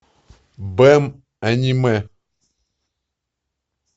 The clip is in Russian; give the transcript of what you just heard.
бэн аниме